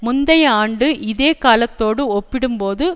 முந்தைய ஆண்டு இதே காலத்தோடு ஒப்பிடும்போது